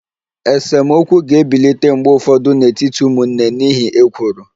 Esemokwu ga-ebilite mgbe ụfọdụ n'etiti ụmụnne n'ihi ekworo